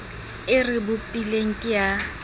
o re bopileng ke a